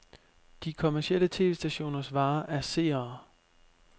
De kommercielle tv-stationers vare er seere.